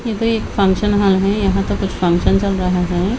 इधर एक function hall है यहां तो कुछ फंक्शन चल रहा है।